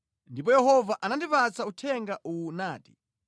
Ndipo Yehova anandipatsa uthenga uwu nati,